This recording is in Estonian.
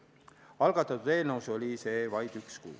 Algatatud eelnõus oli see vaid üks kuu.